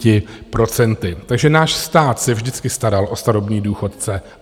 Takže náš stát se vždycky staral o starobní důchodce.